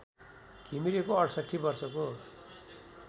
घिमिरेको ६८ वर्षको